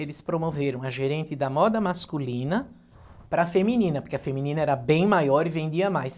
Eles promoveram a gerente da moda masculina para a feminina, porque a feminina era bem maior e vendia mais.